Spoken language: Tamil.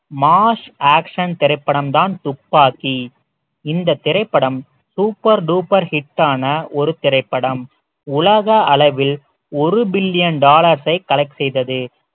mass action திரைப்படம் தான் துப்பாக்கி இந்த திரைப்படம் super duper hit ஆன ஒரு திரைப்படம் உலக அளவில் ஒரு billion dollars ஐ collect செய்தது